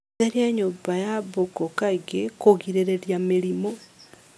Theria nyũmba ya mbũkũ kaingĩ kũgirĩrĩria mĩrimũ